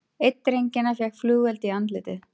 Einn drengjanna fékk flugeld í andlitið